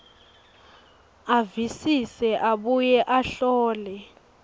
avisise abuye ahlole